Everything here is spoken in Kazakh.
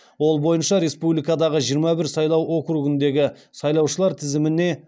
ол бойынша республикадағы жиырма бір сайлау округіндегі сайлаушылар тізіміне